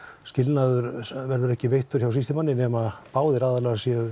skilnaður verður ekki veittur hjá sýslumanni nema báðir aðilar séu